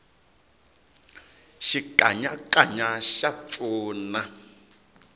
xikanyakanya xa pfuna